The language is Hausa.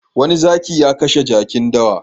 Wani zaki ya kashe jakin dawa.